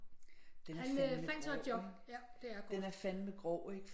Den er fandme grov ikke den er fandme grov ikke